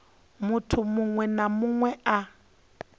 munthu muṅwe na muṅwe a